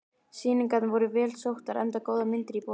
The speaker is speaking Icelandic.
Sýningarnar voru vel sóttar enda góðar myndir í boði.